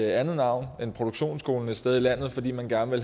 andet navn end produktionsskole et sted i landet fordi man gerne